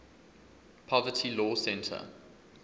poverty law center